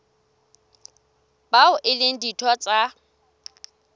bao e leng ditho tsa